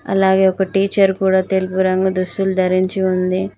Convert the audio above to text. అలాగే ఒక టీచర్ కూడా తెలుగు రంగు దుస్తులు ధరించి ఉంది.